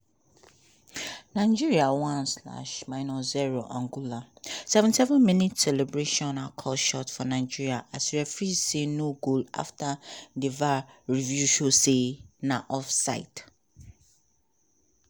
nigeria one slash minus zero angola seventy seven minute celebration for nigeria as referee say no goal after review show say na off side